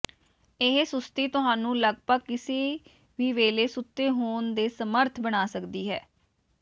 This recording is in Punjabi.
ਇਹ ਸੁਸਤੀ ਤੁਹਾਨੂੰ ਲਗਭਗ ਕਿਸੇ ਵੀ ਵੇਲੇ ਸੁੱਤੇ ਹੋਣ ਦੇ ਸਮਰੱਥ ਬਣਾ ਸਕਦੀ ਹੈ